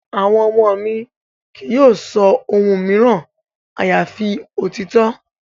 Àwọn ọmọ mi kì yóò sọ ohun mìíràn àyàfi òtítọ́.